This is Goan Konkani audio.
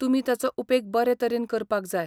तुमी ताचो उपेग बरे तरेन करपाक जाय.